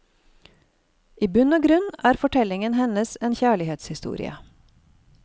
I bunn og grunn er fortellingen hennes en kjærlighetshistorie.